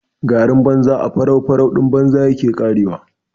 Garin banza a faraufaruɗin banza yake ƙarewa.